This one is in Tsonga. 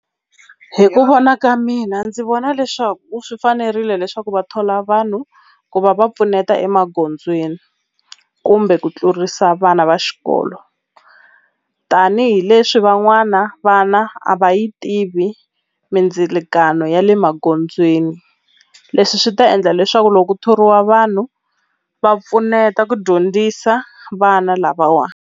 Hi ku vona ka mina ndzi vona leswaku u swi fanerile leswaku va thola vanhu ku va va pfuneta emagondzweni kumbe ku tlurisa vana va xikolo tanihileswi van'wana vana a va yi tivi mindzilikano ya le magondzweni leswi swi ta endla leswaku loko ku thoriwa vanhu va pfuneta ku dyondzisa vana lavawa.